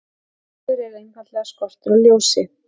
Myrkur er einfaldlega skortur á ljósi.